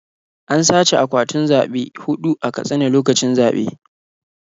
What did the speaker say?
An sace akwatunan zaɓe huɗu a Katsina lokacin zaɓe.